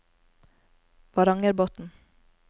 Varangerbotn